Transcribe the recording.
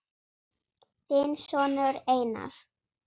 Þinn sonur Einar.